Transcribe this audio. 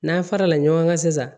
N'an fara la ɲɔgɔn kan sisan